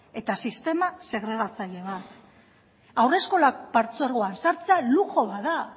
eta sistema segregatzaile bat haurreskolak partzuergoan sartzea luxu bat da